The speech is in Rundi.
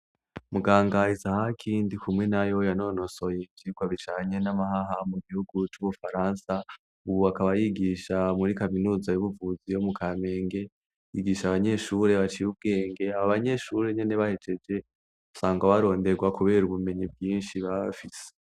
Muganga izahaki, Ndikumwenayo yanonosoye ivyigwa bijanye n'amahaha, mugihugu c'ubufaransa, Ubu akaba yigisha muri Kaminuza yubuvuzi yo Mukamenge, yigisha abanyeshure baciye ubwenge, abobanyeshure nyene nahejeje usanga baronderwa kubera ubumenyi bwishi baba bafise.